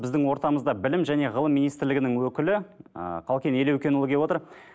біздің ортамызда білім және ғылым министрлігінің өкілі ыыы қалкен елеукенұлы келіп отыр